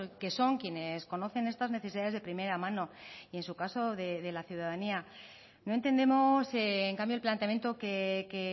que son quienes conocen estas necesidades de primera mano y en su caso de la ciudadanía no entendemos en cambio el planteamiento que